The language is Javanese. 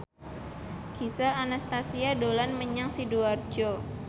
Gisel Anastasia dolan menyang Sidoarjo